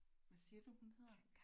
Hvad siger du hun hedder?